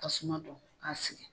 Tasuma don k'a sigi.